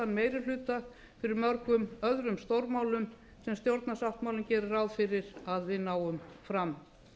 meirihluta fyrir mörgum öðrum stórmálum sem stjórnarsáttmálinn gerir ráð fyrir að við náum fram